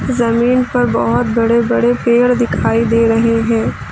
जमीन पर बहुत बड़े बड़े पेड़ दिखाई दे रहे हैं।